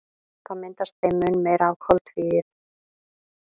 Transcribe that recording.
Þá myndast þeim mun meira af koltvíildi.